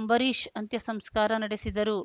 ಅಂಬರೀಷ್‌ ಅಂತ್ಯಸಂಸ್ಕಾರ ನಡೆಸಿದರು